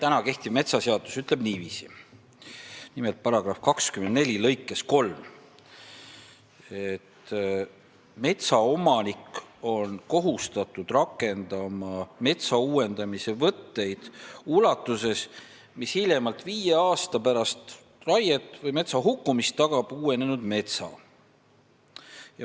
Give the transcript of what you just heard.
Meie kehtiv metsaseadus ütleb § 24 lõikes 3 niiviisi, et metsaomanik on kohustatud rakendama metsa uuendamise võtteid ulatuses, mis hiljemalt viis aastat pärast raiet või metsa hukkumist tagab uuenenud metsa.